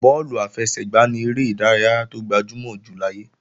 Bọ́ọ̀lù àfẹsẹ̀gbá ni eré ìdárayá tó gbajúmọ̀ jù láyé